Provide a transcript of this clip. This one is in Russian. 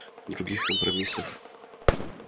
других компромиссов